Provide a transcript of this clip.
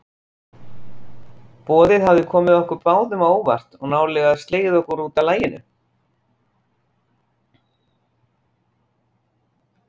Boðið hafði komið okkur báðum á óvart og nálega slegið okkur útaf laginu.